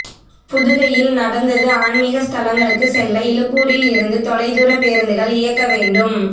புதுகையில் நடந்தது ஆன்மீக ஸ்தலங்களுக்கு செல்ல இலுப்பூரில் இருந்து தொலைதூர பேருந்துகள் இயக்க வேண்டும்